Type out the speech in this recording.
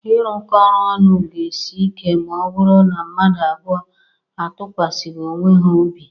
Irukọ oru ọnụ ga-esi ike ma ọ bụrụ na mmadụ abụọ atụkwasịghị onwe ha obi